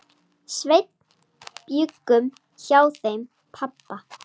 Sveinn bjuggum hjá þeim pabba.